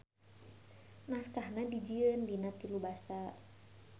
Naskahna dijieun dina tilu Basa.